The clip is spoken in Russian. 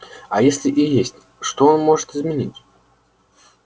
а если и есть что он может изменить